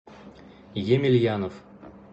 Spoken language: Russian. емельянов